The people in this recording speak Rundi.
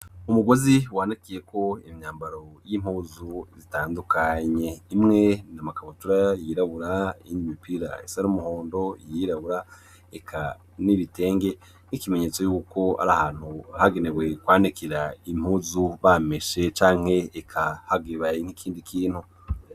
Umugozi wanikiyeko imyambaro y'impuzu zitandukanye. Imwe ni amakabutura yirabura, iyindi mipira isa n'umuhondo, iyirabura eka n'ibitenge, nk'ikimenyetso yuko ari ahantu hagenewe kwanikira impuzu bameshe canke eka habaye nk'ikindi kintu.